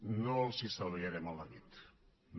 no els estalviarem el neguit no